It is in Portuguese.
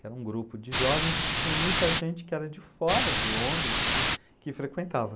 que era um grupo de jovens e que tinha muita gente que era de fora de Londres que que frequentava.